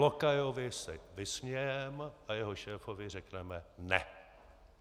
Lokajovi se vysmějeme a jeho šéfovi řekneme ne.